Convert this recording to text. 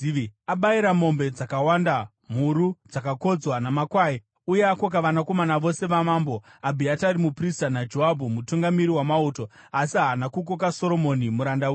Abayira mombe dzakawanda, mhuru dzakakodzwa, namakwai, uye akoka vanakomana vose vamambo, Abhiatari muprista naJoabhu mutungamiri wamauto, asi haana kukoka Soromoni muranda wenyu.